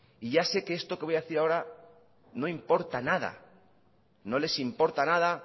y ya sé que esto que voy a decir ahora no importa nada no les importa nada